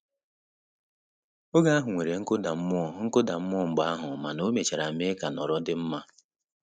Oge ahụ nwere nkụda mmụọ nkụda mmụọ mgbe ahụ mana o mechara mee ka nhọrọ dị mma